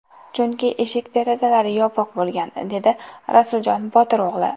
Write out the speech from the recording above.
Chunki eshik-derazalari yopiq bo‘lgan”, dedi Rasuljon Botir o‘g‘li.